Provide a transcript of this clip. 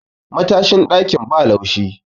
matashin dakin ba laushi